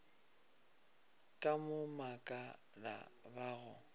ka go makala ba go